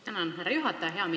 Tänan, härra juhataja!